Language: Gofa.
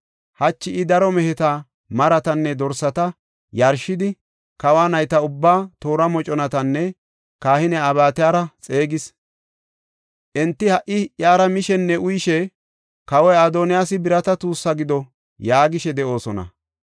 Hachi I daro meheta, maratanne dorsata yarshidi, kawa nayta ubbaa, toora moconatanne kahiniya Abyataara xeegis. Enti ha77i iyara mishenne uyishe, ‘Kawoy Adoniyaasi birata tuussi gido’ yaagishe de7oosona.